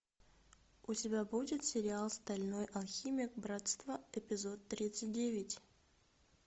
у тебя будет сериал стальной алхимик братство эпизод тридцать девять